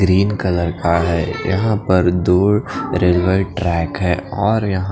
green colour का हे यहाँ पर दो रेलवे ट्रैक हे और यहाँ--